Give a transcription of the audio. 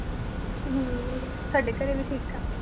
ਹਮ ਸਾਡੇ ਘਰੇ ਵੀ ਠੀਕ ਠਾਕ।